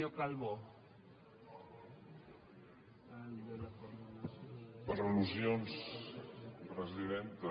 per al·lusions presidenta